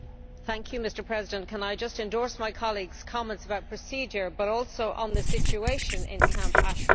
Mr President, can I just endorse my colleague's comments about procedure, and also on the situation in Camp Ashraf?